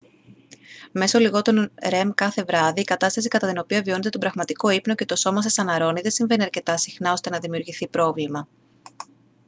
μέσω λιγότερων rem κάθε βράδυ η κατάσταση κατά την οποία βιώνετε τον πραγματικό ύπνο και το σώμα σας αναρρώνει δεν συμβαίνει αρκετά συχνά ώστε να δημιουργηθεί πρόβλημα